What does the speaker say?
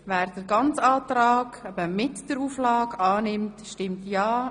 Wer den ganzen Antrag inklusive der Auflage annimmt, stimmt ja;